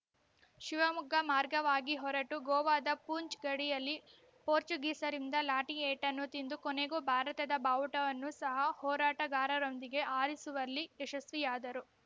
ಶಿವಮೊಗ್ಗ ಮಾರ್ಗವಾಗಿ ಹೊರಟು ಗೋವಾದ ಪೂಂಚ್ ಗಡಿಯಲ್ಲಿ ಪೋರ್ಚುಗೀಸರಿಂದ ಲಾಟಿ ಏಟನ್ನು ತಿಂದು ಕೊನೆಗೂ ಭಾರತದ ಬಾವುಟವನ್ನು ಸಹ ಹೋರಾಟಗಾರರೊಂದಿಗೆ ಹಾರಿಸುವಲ್ಲಿ ಯಶಸ್ವಿಯಾದರು